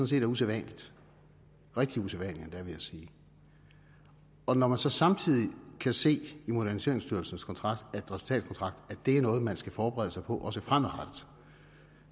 set er usædvanligt rigtig usædvanligt endda vil jeg sige og når man så samtidig kan se i moderniseringsstyrelsens resultatkontrakt det er noget man skal forberede sig på også fremadrettet